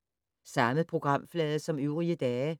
Samme programflade som øvrige dage